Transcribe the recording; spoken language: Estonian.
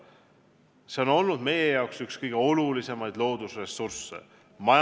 See on olnud meie jaoks majanduslikus mõttes üks kõige olulisemaid loodusressursse.